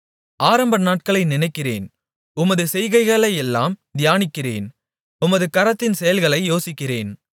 ஆரம்பநாட்களை நினைக்கிறேன் உமது செய்கைகளையெல்லாம் தியானிக்கிறேன் உமது கரத்தின் செயல்களை யோசிக்கிறேன்